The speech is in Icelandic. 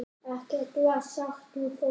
Ekkert var sagt við fólkið.